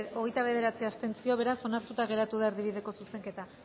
hogeita bederatzi abstentzio beraz onartuta geratu da erdibideko zuzenketa